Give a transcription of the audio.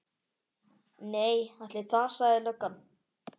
Nei, ætli það, sagði löggan.